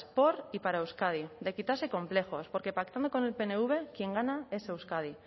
por y para euskadi de quitarse complejos porque pactando con el pnv quien gana es euskadi